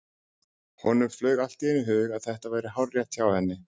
Honum flaug allt í einu í hug að þetta væri hárrétt hjá henni.